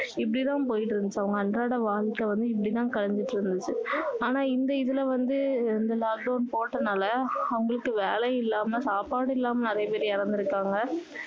இப்படி தான் போயிட்டு இருந்துச்சு அவங்க அன்றாட வாழ்க்கை வந்து இப்படி தான் கழிஞ்சிட்டு இருந்துச்சு ஆனா இந்த இதுல வந்து இந்த lockdown போட்டதுனால அவங்களுக்கு வேலையும் இல்லாம சாப்பாடும் இல்லாம நிறைய பேர் இறந்து இருக்காங்க